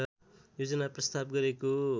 योजना प्रस्ताव गरेको